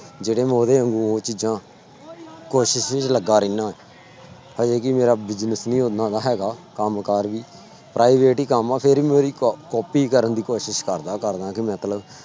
ਜਿਹੜੇ ਮੈਂ ਉਹਦੇ ਵਾਂਗੂ ਉਹ ਚੀਜ਼ਾਂ ਕੋਸ਼ਿਸ਼ ਚ ਲੱਗਾ ਰਹਿਨਾ ਹਜੇ ਕਿ ਮੇਰਾ business ਵੀ ਓਨਾ ਹੈਗਾ ਕੰਮ ਕਾਰ ਵੀ private ਹੀ ਕੰਮ ਆ ਫਿਰ ਵੀ ਉਹਦੀ ਕ copy ਕਰਨ ਦੀ ਕੋਸ਼ਿਸ਼ ਕਰਦਾਂ ਕਰਦਾਂ ਕਿ ਮਤਲਬ